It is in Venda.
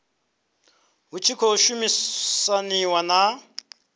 hu tshi khou shumisaniwa na